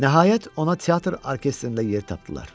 Nəhayət, ona teatr orkestrində yer tapdılar.